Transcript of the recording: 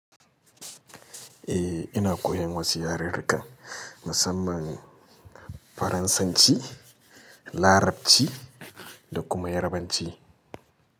Eh, ina koyan wasu yarurruka, musamman Faransanci, Larabci da kuma Yarabanci.